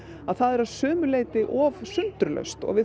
að það er að sumu leyti of sundurlaust og við